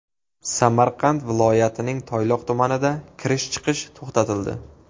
Samarqand viloyatining Toyloq tumaniga kirish-chiqish to‘xtatildi.